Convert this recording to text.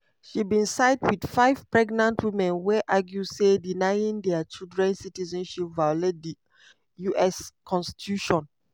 she bin side wit five pregnant women wey argue say denying dia children citizenship violate di us constitution.